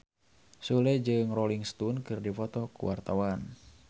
Sule jeung Rolling Stone keur dipoto ku wartawan